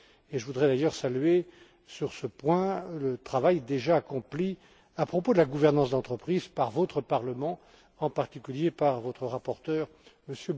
Je voudrais d'ailleurs saluer sur ce point le travail déjà accompli à propos de la gouvernance d'entreprise par votre Parlement, en particulier par votre rapporteur, M.